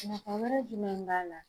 Nafa wɛrɛ jumɛn b'a la.